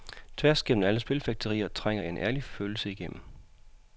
Tværs igennem alle spilfægterier trænger en ærlig følelse igennem.